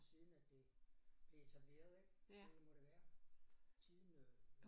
Siden at det blev etableret ik det må det være siden øh